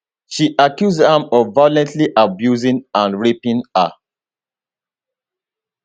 she accuse am of violently abusing and raping her